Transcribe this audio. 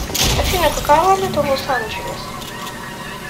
афина какая валюта в лос анджелес